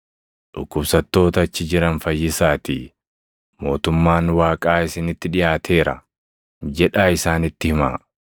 Dhukkubsattoota achi jiran fayyisaatii, ‘Mootummaan Waaqaa isinitti dhiʼaateera’ jedhaa isaanitti himaa.